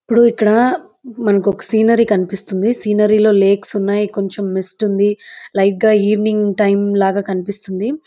ఇప్పుడు ఇక్కడ మనకు ఒక సీనరీ కనిపిస్తుంది. సీనరీలో లేక్స్ ఉన్నాయి కొంచెం మిస్ట్ ఉంది. లైట్ గా ఈవెనింగ్ టైం లాగా కనిపిస్తుంది.